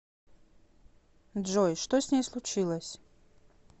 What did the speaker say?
джой что с ней случилось